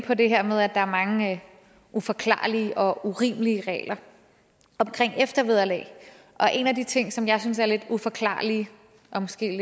på det her med at der er mange uforklarlige og urimelige regler om eftervederlag og en af de ting som jeg synes er lidt uforklarlig og måske